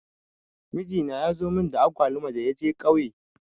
Mijina ya zo mun da agwaluma da ya je ƙauye.